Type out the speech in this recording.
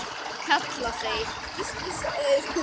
kalla þeir.